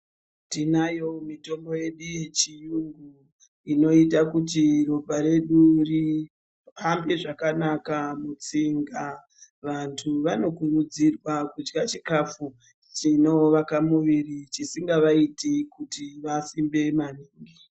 Tinayo mitombo yedu yechiyungu inoita kuti ropa redu rihambe zvakanaka mutsinga. Vantu vanokurudzirwa kudya chikafu chinovaka muviri chisingavaiti kuti vasimbe maningi.